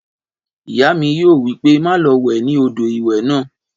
Ìyá mi yóò wí pé má lo wẹ̀ ní odò ìwẹ̀ náà